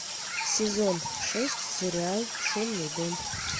сезон шесть сериал шумный дом